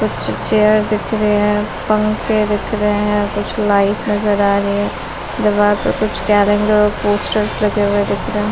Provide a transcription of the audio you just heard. कुछ चेयर दिख रहे हैं। पंखे दिख रहे हैं। कुछ लाइट नजर आ रही है। दीवार पर कुछ कैलेंडर और पोस्टर्स लगे हुए दिख रहें --